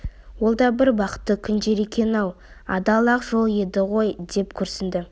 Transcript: ол да бір бақытты күндер екен-ау адал ақ жол еді ғой деп күрсінді